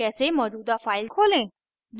कैसे मौजूदा file खोलें